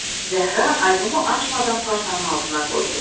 Zəhra albomu açmadan partanın altına qoydu.